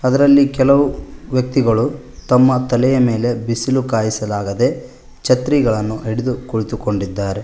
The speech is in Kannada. ಅದರಲ್ಲಿ ಕೆಲವು ವ್ಯಕ್ತಿಗಳು ತಮ್ಮ ತಲೆಯ ಮೇಲೆ ಬಿಸಿಲು ಕಾಯಿಸಲಾಗದೆ ಛತ್ರಿಗಳನ್ನು ಹಿಡಿದು ಕುಳಿತುಕೊಂಡಿದ್ದಾರೆ.